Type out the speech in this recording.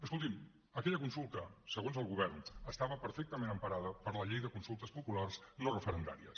escoltin aquella consulta segons el govern estava perfectament emparada per la llei de consultes populars no referendàries